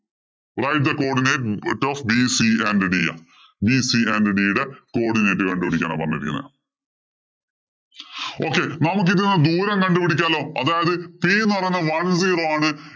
Y the coodinate coodinate കണ്ടുപിടിക്കാനാ പറഞ്ഞിരിക്കുന്നത്. Okay നമുക്ക് ഇതില്‍ നിന്നും ദൂരം കണ്ടുപിടിക്കാലോ. അതായത് c എന്ന് പറയുന്നത് one zero ആണ്.